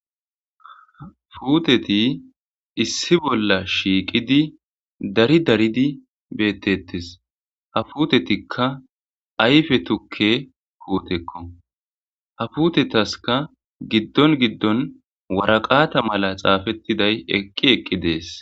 Ha puteti issibola shiqidi dari daridi betetes ha putetika ayipe tuke puteko ha putetaska gidoni gidoni warikata mala xapetiday eqi eqides